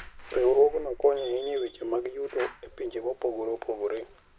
Riwruogno konyo ahinya e weche mag yuto e pinje mopogore opogore.